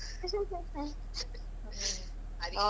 ಹೌದು.